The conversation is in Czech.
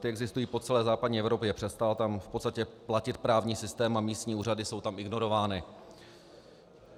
Ty existují po celé západní Evropě, přestal tam v podstatě platit právní systém a místní úřady jsou tam ignorovány.